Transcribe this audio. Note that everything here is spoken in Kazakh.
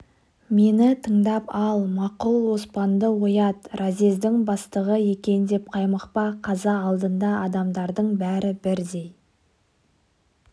мені тыңдап ал мақұл оспанды оят разъездің бастығы екен деп қаймықпа қаза алдында адамдардың бәрі бірдей